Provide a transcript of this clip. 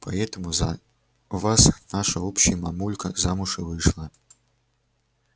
поэтому за вас наша общая мамулька замуж и вышла